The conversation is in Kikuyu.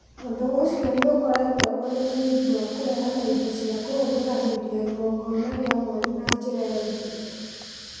Ũndũ ũcio nĩ ũkoretwo ũrĩ mũthingi wa kũheana indo cia kũhũthĩra hĩndĩ ya igongona rĩa mwer na njĩra ya ihinda.